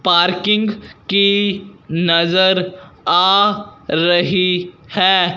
Parking की नजर आ रही है।